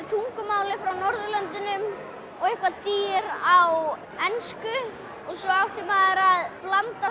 tungumáli frá Norðurlöndunum og eitthvert dýr á ensku og svo átti maður að blanda